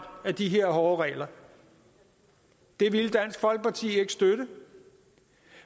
af de her hårde regler det ville dansk folkeparti ikke støtte